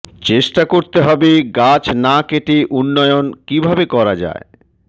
চেষ্টা করতে হবে গাছ না কেটে উন্নয়ন কিভাবে করা যায়